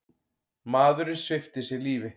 Maðurinn svipti sig svo lífi.